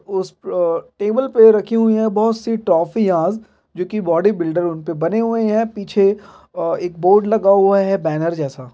''उस आ टेबल पे रखी हुई है बहुत सी थोप्फिस जो की बॉडी बिल्डर उनपे बने हुए है पीछे एक बोर्ड लगा है बैनर जैसा।''